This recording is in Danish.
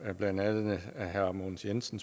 blandt andet spurgte herre mogens jensen